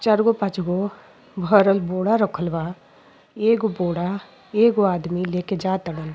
चार गो पाँच गो भरल बोरा रखल बा। एगो बोरा एगो आदमी लेके जा तरन।